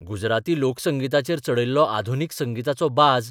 गुजराती लोकसंगिताचेर चडयल्लो आधुनीक संगिताचो बाज.